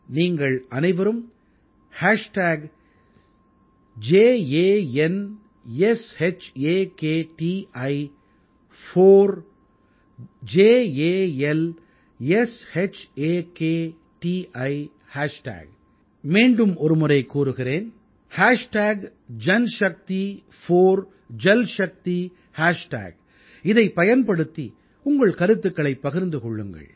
நீங்கள் அனைவரும் JanShakti4JalShakti இதைப் பயன்படுத்தி உங்கள் கருத்துக்களைப் பகிர்ந்து கொள்ளுங்கள்